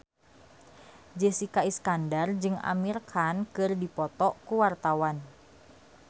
Jessica Iskandar jeung Amir Khan keur dipoto ku wartawan